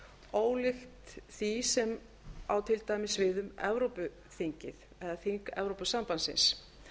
ólíkt því sem á til dæmis við um evrópuþingið eða þing evrópusambandsins